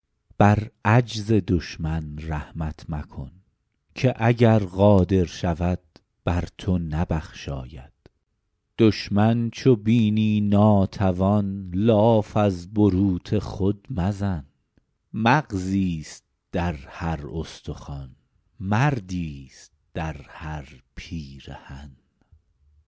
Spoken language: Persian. بر عجز دشمن رحمت مکن که اگر قادر شود بر تو نبخشاید دشمن چو بینی ناتوان لاف از بروت خود مزن مغزیست در هر استخوان مردیست در هر پیرهن